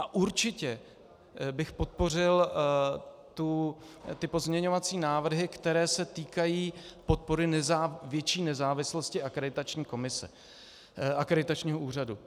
A určitě bych podpořil ty pozměňovací návrhy, které se týkají podpory větší nezávislosti akreditačního úřadu.